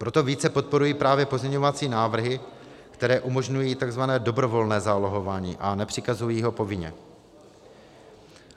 Proto více podporuji právě pozměňovací návrhy, které umožňují tzv. dobrovolné zálohování a nepřikazují ho povinně.